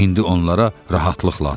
İndi onlara rahatlıq lazımdır.